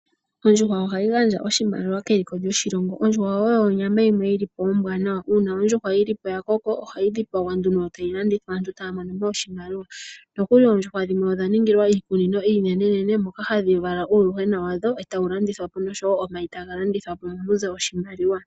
Ondjuhwa oha yi gandja oshimaliwa keliko lyoshilongo . Ondjuhwa oyo onyama yimwe yi li po ombwaanawa. Uuna ondjuhwa yi li po ya koko, oha yi dhipagwa nduno, yo tayi landithwa, aantu taa mono oshimaliwa. Nokuli oondjuhwa dhimwe odha ningilwa iikunino iinenenene moka hadhi vala uuyuhwena wadho tawu landithwa nosho wo omayi taga landithwa po , mo mu ze oshimaliwa.